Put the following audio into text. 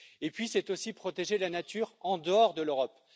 Et puis c'est aussi protéger la nature en dehors de l'Europe.